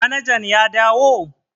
Manajan ya dawo?